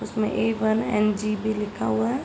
उसमे A one and G भी लिखा हुआ है।